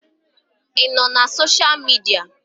Ị nọ na sosha midia?